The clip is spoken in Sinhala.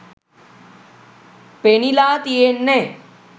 පෙනිලා තියෙන්නෙ